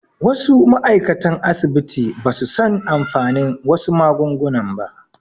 Wasu ma'aikatan asibiti basu san amfanin wasu magunguna ba